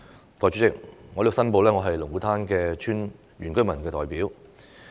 代理主席，我在此申報，我是龍鼓灘村的原居民代表。